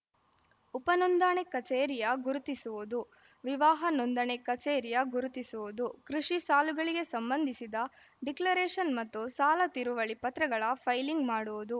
ಉಪನೋಂದಣಿ ಕಚೇರಿಯ ಗುರುತಿಸುವುದು ವಿವಾಹ ನೋಂದಣಿ ಕಚೇರಿಯ ಗುರುತಿಸುವುದು ಕೃಷಿ ಸಾಲಗಳಿಗೆ ಸಂಬಂಧಿಸಿದ ಡಿಕ್ಲರೇಷನ್‌ ಮತ್ತು ಸಾಲ ತಿರುವಳಿ ಪತ್ರಗಳ ಫೈಲಿಂಗ್‌ ಮಾಡುವುದು